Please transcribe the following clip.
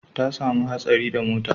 Ta samu hatsari da motan